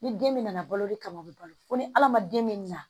Ni den bɛ na balo de kama o be balo fo ni ala ma den min na